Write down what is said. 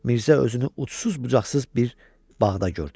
Mirzə özünü ucsuz-bucaqsız bir bağda gördü.